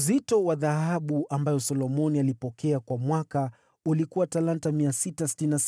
Uzito wa dhahabu ambayo Solomoni alipokea kwa mwaka ulikuwa talanta 666,